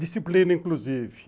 Disciplina, inclusive.